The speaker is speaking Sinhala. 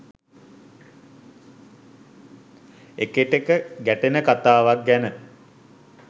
එකටෙක ගැටෙන කතාවක් ගැන